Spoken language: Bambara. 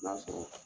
N'a sɔrɔ